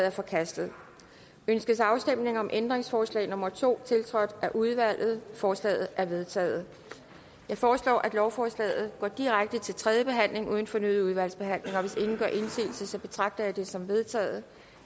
er forkastet ønskes afstemning om ændringsforslag nummer to tiltrådt af udvalget forslaget er vedtaget jeg foreslår at lovforslaget går direkte til tredje behandling uden fornyet udvalgsbehandling hvis ingen gør indsigelse betragter jeg det som vedtaget